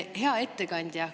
Hea ettekandja!